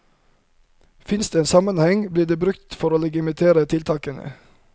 Finnes det en sammenheng, blir det brukt for å legitimere tiltakene.